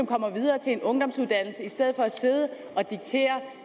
kommer videre til en ungdomsuddannelse i stedet for at sidde og diktere